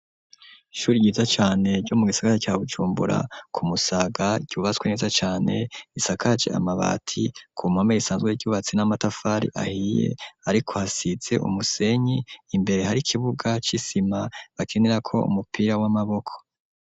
Ishuri ryiza cane ryo mu gisakare ca Bujumbura ku Musaga cubaswe neza cane gisakaje amabati ku mpome risanzwe ryubatswe n'amatafari ahiye ariko hasize umusenyi imbere hari ikibuga c'isima bakinirako umupira w'amaboko.